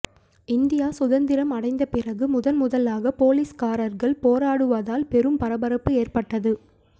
India சுதந்திரம் அடைந்த பிறகு முதன்முதலாக போலீஸ்காரர்கள் போராடுவதால் பெரும் பரபரப்பு ஏற்பட்டது